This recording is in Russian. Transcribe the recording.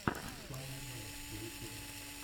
фанни вайнс в ютюбе